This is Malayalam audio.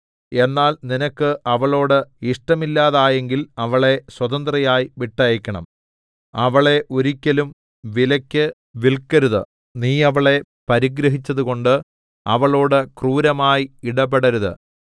എന്നാൽ നിനക്ക് അവളോട് ഇഷ്ടമില്ലാതായെങ്കിൽ അവളെ സ്വതന്ത്രയായി വിട്ടയക്കണം അവളെ ഒരിക്കലും വിലയ്ക്ക് വില്‍ക്കരുത് നീ അവളെ പരിഗ്രഹിച്ചതുകൊണ്ട് അവളോട് ക്രൂരമായി ഇടപെടരുത്